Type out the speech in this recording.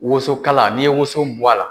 Woson kala , n'i ye woson bɔ a la